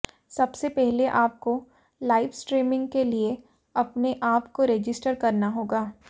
सबसे पहले आपको लाइव स्ट्रीमिंग के लिए अपने आप को रजिस्टर करना होगा